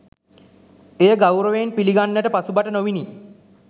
එය ගෞරවයෙන් පිළිගන්නට පසුබට නොවිණි.